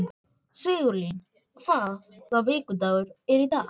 Sigurlín, hvaða vikudagur er í dag?